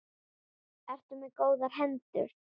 Ertu með góðar hendur?